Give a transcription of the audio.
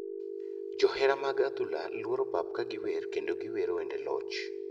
Johera mad adhula luoro pap ka giwer kendo giwero wende loch